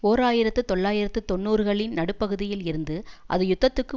ஓர் ஆயிரத்து தொள்ளாயிரத்து தொன்னூறுகளின் நடுப்பகுதியில் இருந்து அது யுத்தத்துக்கு